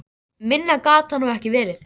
Minna gat það nú ekki verið.